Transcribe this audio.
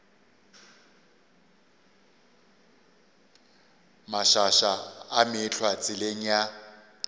mašaša a meetlwa tseleng ya